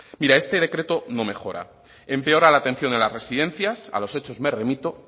este decreto no mejora empeora la atención de las residencias a los hechos me remito